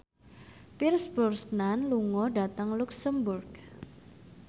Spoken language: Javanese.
Pierce Brosnan lunga dhateng luxemburg